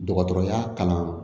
Dɔgɔtɔrɔya kalan